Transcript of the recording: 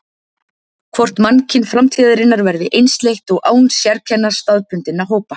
Hvort mannkyn framtíðarinnar verði einsleitt og án sérkenna staðbundinna hópa.